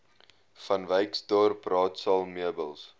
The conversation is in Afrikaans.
vanwyksdorp raadsaal meubels